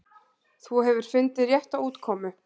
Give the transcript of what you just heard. Þú hefur fundið rétta útkomu.